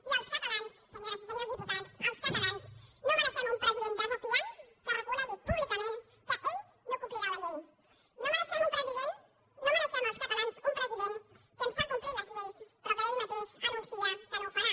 i els catalans senyores i senyors diputats els catalans no mereixem un president desafiant que reconegui públicament que ell no complirà la llei no mereixem els catalans un president que ens fa complir les lleis però que ell mateix anuncia que no ho farà